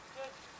Gəncə.